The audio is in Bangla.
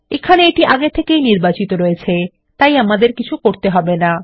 এখানে এটি আগে থেকেই নির্বাচিত রয়ছে তাই আমাদের কিছু করতে হবে না